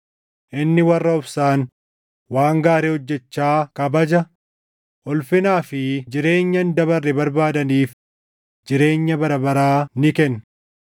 Inni warra obsaan waan gaarii hojjechaa kabaja, ulfinaa fi jireenya hin dabarre barbaadaniif jireenya bara baraa ni kenna.